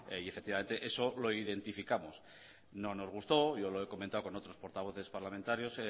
y efectivamente eso lo identificamos no nos gustó yo lo he comentado con otros portavoces parlamentarios